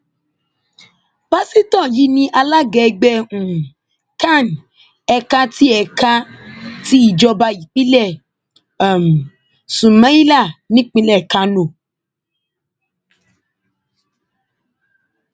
pásítọ yìí ni alága ẹgbẹ um can ẹka ti ẹka ti ìjọba ìbílẹ um sumaila nípìnlẹ kánò